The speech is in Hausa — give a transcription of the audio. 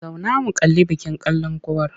Zauna mu kalli bikin kalankuwar!